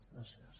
gràcies